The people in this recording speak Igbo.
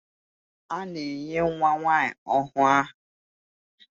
A na-enye nwa nwanyi ọhụụ aha.